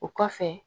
O kɔfɛ